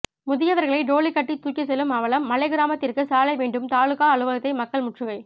முதியவர்களை டோலி கட்டி தூக்கி செல்லும் அவலம் மலை கிராமத்திற்கு சாலை வேண்டும் தாலுகா அலுவலகத்தை மக்கள் முற்றுகை